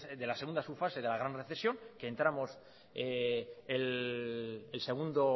de la segunda subfase de la gran recesión que entramos el segundo